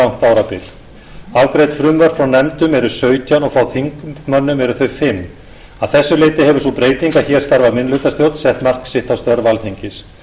um langt árabil afgreidd frumvörp frá nefndum eru sautján og frá þingmönnum eru þau fimmta að þessu leyti hefur sú breyting að hér starfar minnihlutastjórn sett mark sitt á störf alþingis